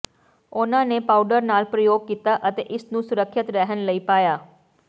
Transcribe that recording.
ਉਨ੍ਹਾਂ ਨੇ ਪਾਊਡਰ ਨਾਲ ਪ੍ਰਯੋਗ ਕੀਤਾ ਅਤੇ ਇਸ ਨੂੰ ਸੁਰੱਖਿਅਤ ਰਹਿਣ ਲਈ ਪਾਇਆ